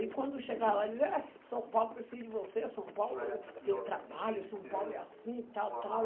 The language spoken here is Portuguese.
Aí, quando chegava São Paulo precisa de você, São Paulo tem trabalho, São Paulo é assim, tal, tal.